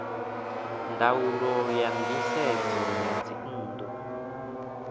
ndaulo ya nisedzo ya dzinnu